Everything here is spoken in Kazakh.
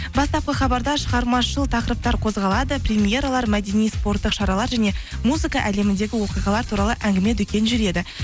бастапқы хабарда шығармашылық тақырыптар қозғалады примьералар мәдени спорттық шаралар және музыка әлеміндегі оқиғалар туралы әңгіме дүкен жүреді